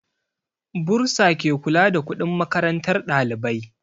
Bursa ke kula da kuɗin makarantar ɗalibai